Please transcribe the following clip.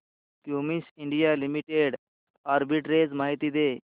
Cummins India Limited arbitrage माहिती दे